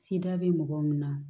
bɛ mɔgɔ min na